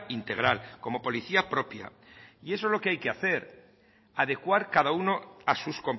integral como policía propia y eso es lo que hay que hacer adecuar cada uno a sus